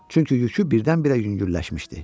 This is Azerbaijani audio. Çünki yükü birdən-birə yüngülləşmişdi.